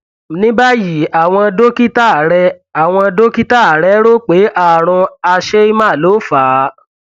ní báyìí àwọn dókítà rẹ àwọn dókítà rẹ rò pé ààrùn hersheimer ló fà á